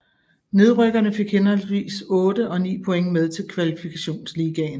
Nedrykkerne fik henholdsvis 8 og 9 point med til Kvalifikationsligaen